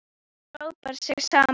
Þau hópa sig saman.